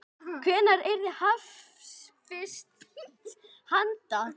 Hvenær yrði hafist handa?